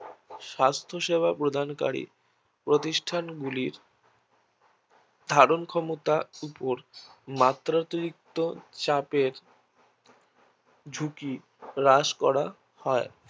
স্বাস্থ্য সেবা প্রদানকারী প্রতিষ্ঠান গুলি ধারণ ক্ষমতার উপর মাত্রাতিরিক্ত চাপের ঝুঁকি হ্রাস করা হয়